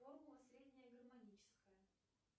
формула средняя гармоническая